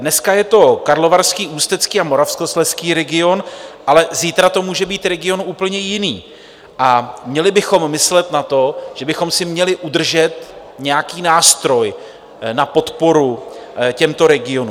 Dneska je to Karlovarský, Ústecký a Moravskoslezský region, ale zítra to může být region úplně jiný, a měli bychom myslet na to, že bychom si měli udržet nějaký nástroj na podporu těmto regionům.